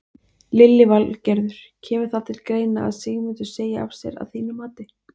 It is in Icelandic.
Lillý Valgerður: Kemur það til greina að Sigmundur segi af sér að þínu mati?